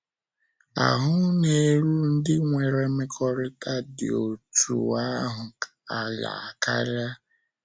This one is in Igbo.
Ahụ́ na- érú ndị nwere mmekọrịta dị otú ahụ ala karịa.